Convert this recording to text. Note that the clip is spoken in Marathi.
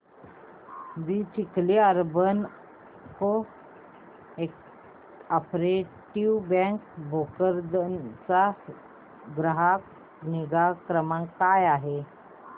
दि Chikhli urban cooperative bank Bhokardan चा ग्राहक निगा क्रमांक काय आहे